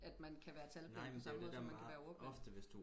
at man kan være talblind på samme måde som man kan være ordblind